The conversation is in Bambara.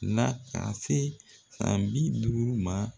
N'a ka se san bi duuru ma